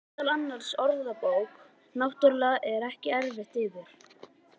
Meðal annarra orða: Bók náttúrunnar,- er það eftir yður?